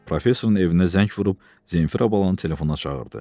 Professorun evinə zəng vurub Zenfira balanı telefona çağırdı.